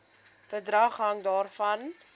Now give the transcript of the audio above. bedrag hang daarvan